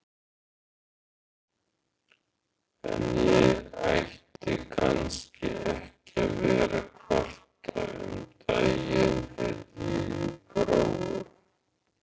En ég ætti kannski ekki að vera að kvarta, um daginn heyrði ég Gróu